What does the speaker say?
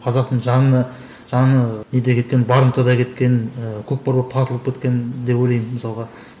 қазақтың жаны жаны неде кеткен барымтада кеткен ыыы көкпар болып тартылып кеткен деп ойлаймын мысалға